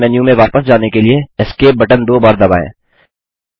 games menu में वापस जाने के लिए एस्केप बटन दो बार दबाएँ